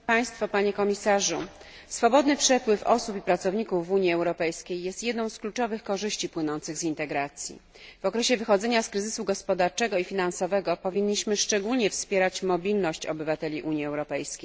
Pani Przewodnicząca! Swobodny przepływ osób i pracowników w Unii Europejskiej jest jedną z kluczowych korzyści płynących z integracji. W okresie wychodzenia z kryzysu gospodarczego i finansowego, powinniśmy szczególnie wspierać mobilność obywateli Unii Europejskiej.